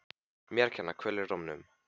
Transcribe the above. Mér að kenna- Kvöl í rómnum.